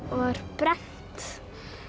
var brennt